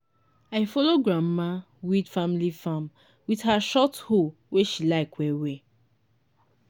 i follow grandma weed family farm with her short hoe wey she like well well